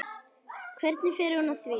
Hvernig fer hún að því?